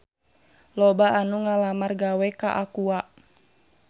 Loba anu ngalamar gawe ka Aqua